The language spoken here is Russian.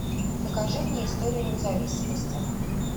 покажи мне историю независимости